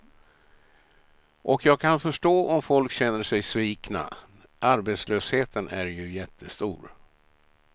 Och jag kan förstå om folk känner sig svikna, arbetslösheten är ju jättestor.